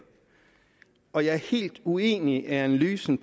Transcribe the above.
og jeg er helt uenig i analysen